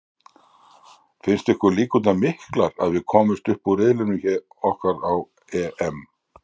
Finnst ykkur líkurnar miklar að við komumst upp úr riðlinum okkar á EM?